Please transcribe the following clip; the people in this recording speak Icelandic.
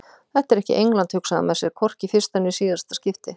Þetta er ekki England hugsaði hann með sér, hvorki í fyrsta né síðasta skipti.